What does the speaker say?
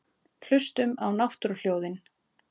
Hlustum á náttúruhljóðin.